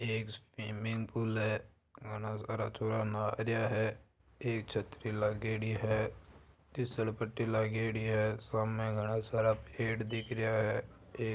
ये एक swimming pool है घणा सारा छोरा नहा रया है एक छतरी लागेडी है तिसल पट्टी लागेडी है सामने घाना सारा पेड़ दिख रया है।